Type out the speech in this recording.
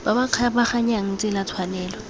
ba ba kgabaganyang tsela tshwanelo